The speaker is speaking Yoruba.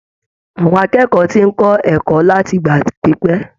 Àwọn akẹ́kọ̀ọ́ tí ń kó ẹ̀kọ́ láti ìgbà pípẹ́.